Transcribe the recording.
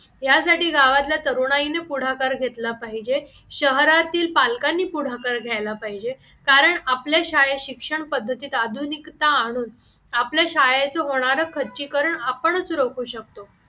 त्यासाठी गावातला तरुणाईने पुढाकार घेतला पाहिजे शहरातील पालकांनी पुढाकार घ्यायला पाहिजे कारण आपल्या शाळेत शिक्षण पद्धतीत आधुनिकता आणून आपल्या शाळेचे होणारे खच्चीकरण आपणच रोखू शकतो